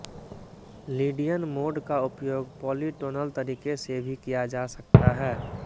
Lydian mode का उपयोग polytonal तरीके से भी किया जा सकता है